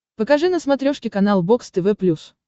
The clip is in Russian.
покажи на смотрешке канал бокс тв плюс